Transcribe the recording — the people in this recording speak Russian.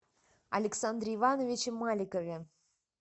александре ивановиче маликове